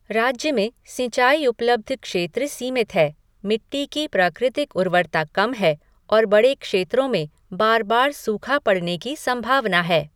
राज्य में सिंचाई उपलब्ध क्षेत्र सीमित है, मिट्टी की प्राकृतिक उर्वरता कम है और बड़े क्षेत्रों में बार बार सूखा पड़ने की संभावना है।